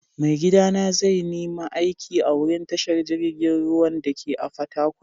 Maigida na zai nima aiki a'wurin tashar jirigin ruwan dake a'Fatakwal.